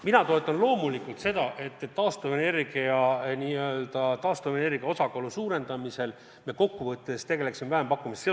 Mina toetan loomulikult seda, et me taastuvenergia osakaalu suurendamisel kokkuvõttes tegeleksime vähempakkumistega.